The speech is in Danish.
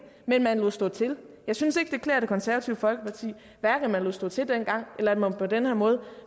men man lod stå til jeg synes ikke det klæder det konservative folkeparti hverken at man lod stå til dengang eller at man på den her måde